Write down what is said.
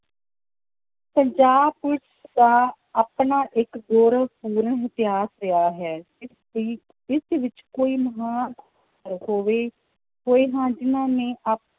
Punjab police ਦਾ ਆਪਣਾ ਇੱਕ ਗੌਰਵ ਪੂਰਨ ਇਤਿਹਾਸ ਰਿਹਾ ਹੈ, ਇਸ ਦੀ ਇਸ ਵਿੱਚ ਕੋਈ ਹੋਵੇ ਕੋਈ ਹਾਂ ਜਿੰਨਾਂ ਨੇ